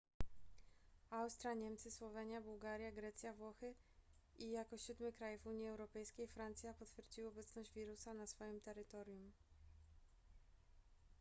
austria niemcy słowenia bułgaria grecja włochy i jako siódmy kraj w unii europejskiej francja potwierdziły obecność wirusa na swoim terytorium